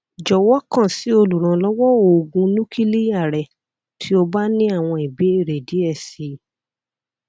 jọwọ kan si oluranlọwọ oogun nukiliya rẹ ti o ba ni awọn ibeere diẹ sii